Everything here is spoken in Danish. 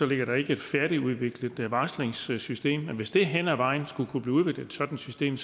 ligger der ikke et færdigudviklet varslingssystem men hvis der hen ad vejen skulle blive udviklet et sådant system